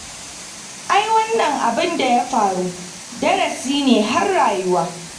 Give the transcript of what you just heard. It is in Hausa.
Ai wannan abin da ya faru darasi ne har rayuwa